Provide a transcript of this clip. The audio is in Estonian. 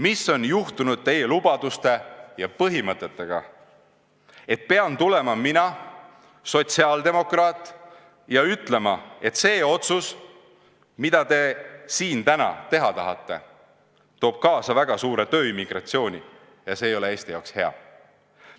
Mis on juhtunud teie lubaduste ja põhimõtetega, et pean tulema mina, sotsiaaldemokraat, ja ütlema, et see otsus, mida te siin täna teha tahate, toob kaasa väga suure tööimmigratsiooni ja see ei ole Eesti jaoks hea?